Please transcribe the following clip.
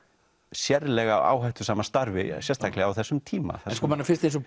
sérlega áhættusama starfi sérstaklega á þessum tíma manni finnst eins og